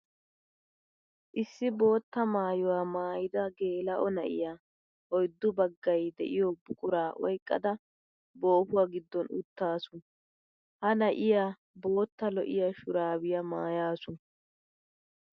Issi bootta maayuwa maayidda geela'o na'iya oyddu bagay de'iyo buqura oyqqadda boohuwa giddon uttassu. Ha na'iya bootta lo'iya shurabbiya maayasu.